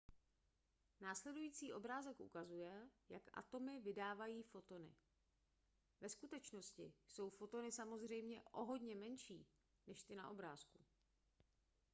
následující obrázek ukazuje jak atomy vydávají fotony ve skutečnosti jsou fotony samozřejmě o hodně menší než ty na obrázku